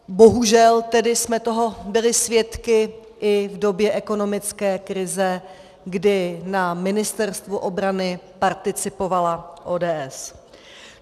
Bohužel tedy jsme toho byli svědky i v době ekonomické krize, kdy na Ministerstvu obrany participovala ODS.